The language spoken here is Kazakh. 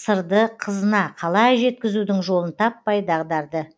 сырды қызына қалай жеткізудің жолын таппай дағдарды